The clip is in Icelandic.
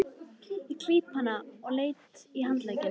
Ég klíp hana létt í handlegginn.